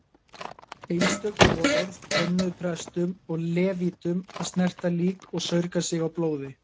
Einstök boðorð bönnuðu prestum og levítum að snerta lík og saurga sig á blóði.